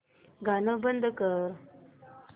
गाणं बंद कर